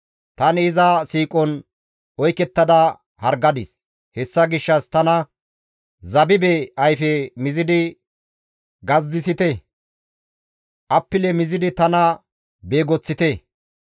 Tani iza siiqon oykettada hargadis; hessa gishshas tana zabibe ayfe mizidi gazidissite; appile mizidi tana beegoththite.